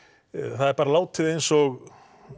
það er bara látið eins og